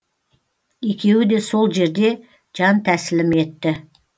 екеуі де сол жерде жантәсілім етті